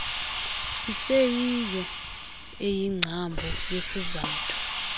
iseyiyo eyingcambu yesizathu